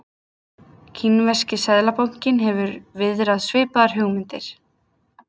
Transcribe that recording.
Kínverski seðlabankinn hefur viðrað svipaðar hugmyndir.